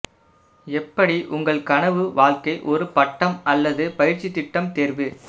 எப்படி உங்கள் கனவு வாழ்க்கை ஒரு பட்டம் அல்லது பயிற்சி திட்டம் தேர்வு